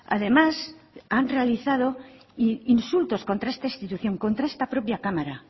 además han realizado insultos contra esta institución contra esta propia cámara